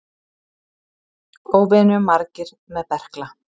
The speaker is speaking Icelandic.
Óvenju margir með berkla